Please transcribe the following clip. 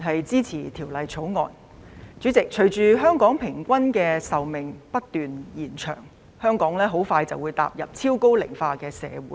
主席，隨着香港人平均壽命不斷延長，香港即將踏入超高齡化社會。